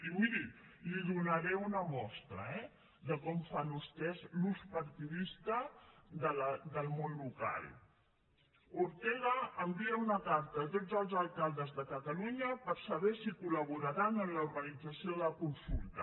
i miri li donaré una mostra eh de com fan vostès l’ús partidista del món local ortega envia una carta a tots els alcaldes de catalunya per saber si col·en l’organització de la consulta